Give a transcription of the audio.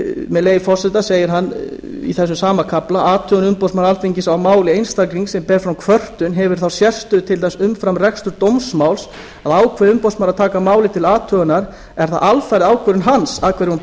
með leyfi forseta segir hann í þessum sama kafla athugun umboðsmanns alþingis á máli einstaklings sem ber fram kvörtun hefur þá sérstöðu til dæmis umfram reksturs dómsmáls að ákveði umboðsmaður að taka málið til athugunar er það alfarið ákvörðun hans að hverju hún